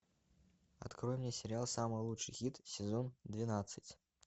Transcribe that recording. открой мне сериал самый лучший хит сезон двенадцать